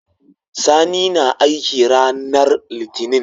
Sani na aiki ranar litinin